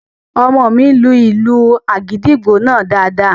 Ọmọ mi lu ìlù àgìdìgbò náà daadaa